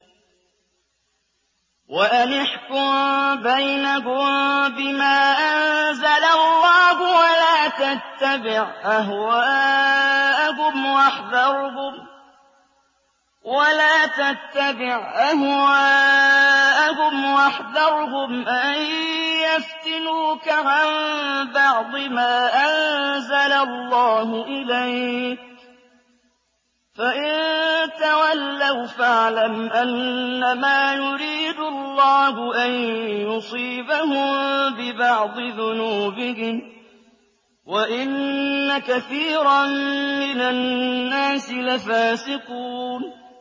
وَأَنِ احْكُم بَيْنَهُم بِمَا أَنزَلَ اللَّهُ وَلَا تَتَّبِعْ أَهْوَاءَهُمْ وَاحْذَرْهُمْ أَن يَفْتِنُوكَ عَن بَعْضِ مَا أَنزَلَ اللَّهُ إِلَيْكَ ۖ فَإِن تَوَلَّوْا فَاعْلَمْ أَنَّمَا يُرِيدُ اللَّهُ أَن يُصِيبَهُم بِبَعْضِ ذُنُوبِهِمْ ۗ وَإِنَّ كَثِيرًا مِّنَ النَّاسِ لَفَاسِقُونَ